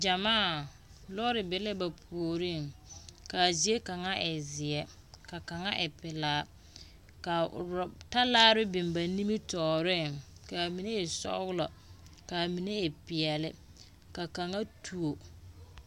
Gyamaa! Lɔɔre be la ba puoriŋ, kaa zie kaŋa e zeɛ ka kaŋa e pelaa. Ka ro talaare biŋ ba nimitɔɔreŋ, kaa mine e sɔglɔ kaa mine e peɛle, ka kaŋa tuo.